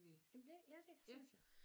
Jamen det ja det synes jeg